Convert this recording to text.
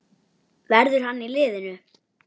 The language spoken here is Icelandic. Verður hann í liðinu?